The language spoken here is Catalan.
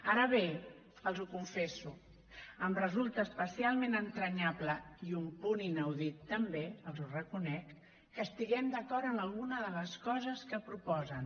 ara bé els ho confesso em resulta especialment entranyable i un punt inaudit també els ho reconec que estiguem d’acord en alguna de les coses que proposen